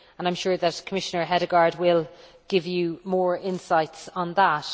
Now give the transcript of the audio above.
I am sure that Commissioner Hedegaard will give you more insights on that.